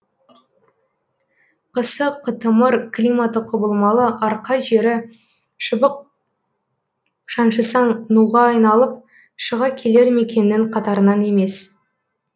қысы қытымыр климаты құбылмалы арқа жері шыбық шаншысаң нуға айналып шыға келер мекеннің қатарынан емес